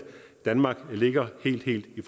danmark ligger helt helt i